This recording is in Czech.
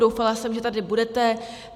Doufala jsem, že tady budete.